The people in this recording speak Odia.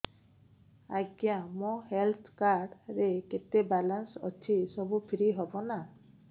ଆଜ୍ଞା ମୋ ହେଲ୍ଥ କାର୍ଡ ରେ କେତେ ବାଲାନ୍ସ ଅଛି ସବୁ ଫ୍ରି ହବ ନାଁ